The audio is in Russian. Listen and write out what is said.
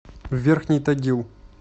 верхний тагил